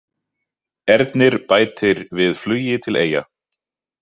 Ernir bætir við flugi til Eyja